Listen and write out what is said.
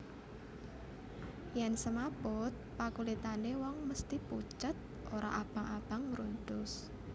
Yen semaput pakulitane wong mesthi pucet ora abang abang mruntus